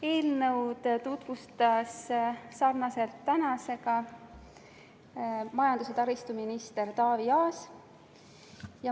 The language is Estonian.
Eelnõu tutvustas nagu tänagi majandus- ja taristuminister Taavi Aas.